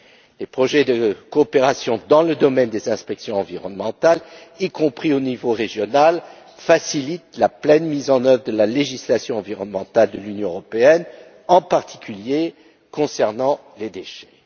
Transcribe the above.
Les projets de coopération dans le domaine des inspections environnementales, y compris au niveau régional, facilitent la pleine mise en œuvre de la législation environnementale de l'Union européenne, en particulier concernant les déchets.